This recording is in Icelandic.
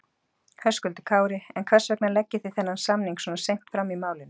Höskuldur Kári: En hvers vegna leggið þið þennan samning svona seint fram í málinu?